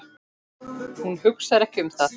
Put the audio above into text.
Hún hugsar ekki um það.